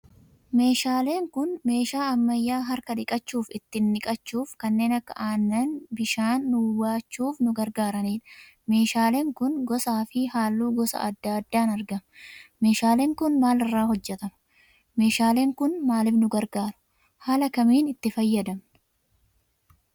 Meeshaaleen kun meeshaa ammayyaa harka dhiqachuuf; ittin dhiqachuuf kannen akka Aannani; bishaani nuu baachuf nu gargaranidha. meeshaalen kun gosa fi hallu gosa adda addan argama. Meeshaalen kun maalirra hojjetama? meeshaalen kun maalif nu gargaaru? Haala kamiin itti fayyadamna?